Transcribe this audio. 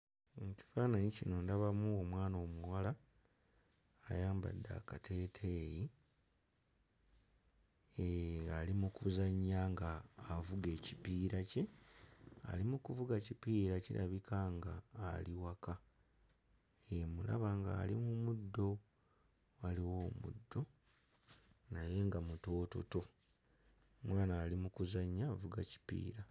Mu kifaananyi kino ndabamu omwana omuwala ayambadde akateeteeyi, hee ali mu kuzannya ng'avuga ekipiira kye. Ali mu kuvuga kipiira, kirabika nga ali waka. Hee, mmulaba nga ali mu muddo, waliwo omuddo naye nga mutoototo. Omwana ali mu kuzannya, avuga kipiira.